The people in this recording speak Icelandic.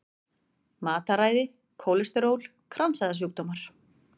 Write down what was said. Matarræði, kólesteról, kransæðasjúkdómar.